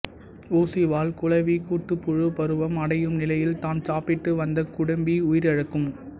ஊசிவால் குளவி கூட்டுப்புழு பருவம் அடையும் நிலையில் தான் சாப்பிட்டு வந்த குடம்பி உயிரிழக்கும்